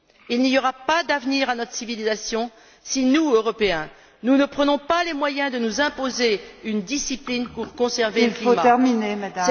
Il n'y aura pas d'avenir à notre civilisation si nous, Européens, nous ne prenons pas les moyens de nous imposer une discipline pour conserver le climat.